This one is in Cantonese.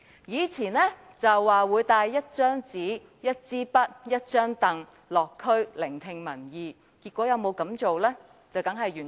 梁特首曾說會帶一張紙、一支筆和一張椅子落區聆聽民意，但他結果有否這樣做？